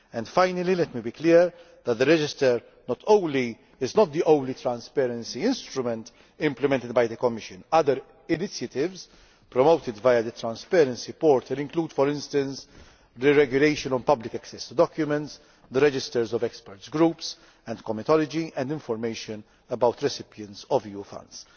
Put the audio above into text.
Finally, let me be clear that the register is not the only transparency instrument implemented by the Commission. Other initiatives, promoted via the transparency portal, include for instance the regulation of public access to documents, the registers of experts' groups and comitology, and information about recipients of EU funds.